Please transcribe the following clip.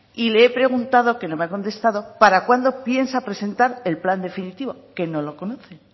y le he preguntado que no me ha contestado para cuándo piensa presentar el plan definitivo que no lo conocen